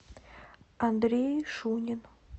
андрей шунин